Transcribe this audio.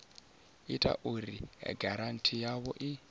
ita uri giranthi yavho i